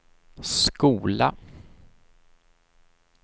skola